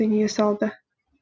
дүние салды